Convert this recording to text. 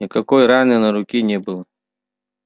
никакой раны на руке не было